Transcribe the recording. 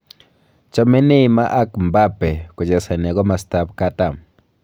Chame Neymar ak Mbappe kochesane komasatab katam